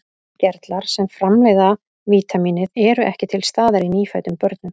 Gerlar sem framleiða vítamínið eru ekki til staðar í nýfæddum börnum.